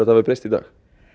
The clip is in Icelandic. hafi breyst í dag